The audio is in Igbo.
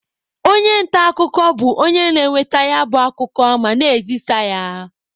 Onye nta akụkọ bụ onye na-enweta ya bụ akụkọ ma na-ezisa ya.